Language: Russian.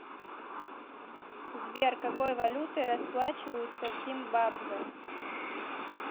сбер какой валютой расплачиваются в зимбабве